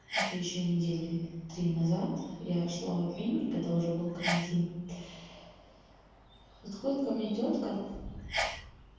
это ещё недели три назад я шла в обменник когда уже был карантин подходит ко мне тётка